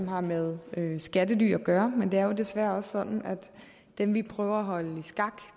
har med med skattely at gøre men det er desværre også sådan at dem vi prøver at holde